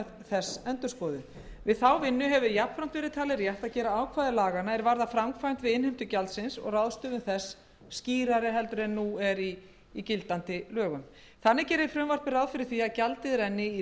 þess endurskoðuð við þá vinnu hefur jafnframt verið talið rétt að gera ákvæði laganna er varða framkvæmd við innheimtu gjaldsins og ráðstöfun þess skýrari en nú er í gildandi lögum þannig gerir frumvarpið ráð fyrir því að gjaldið renni í